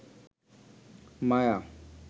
মায়া